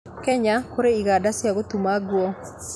Kenya kũrĩ iganda cia gũtuma nguo